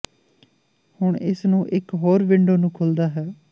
ਹੁਣ ਇਸ ਨੂੰ ਇਕ ਹੋਰ ਵਿੰਡੋ ਨੂੰ ਖੁੱਲਦਾ ਹੈ